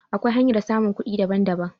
Akwai hanyar samun kuɗi daban daban